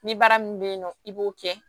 Ni baara min bɛ ye nɔ i b'o kɛ